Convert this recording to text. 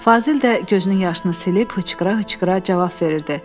Fazil də gözünün yaşını silib hıçqıra-hıçqıra cavab verirdi.